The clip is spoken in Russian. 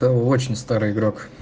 то очень старая игра